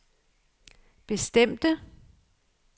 bestemte